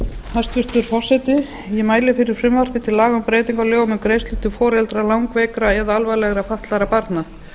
hæstvirtur forseti ég mæli fyrir frumvarpi til laga um um breytingu á lögum um greiðslur til foreldra langveikra eða alvarlega fatlaðra barna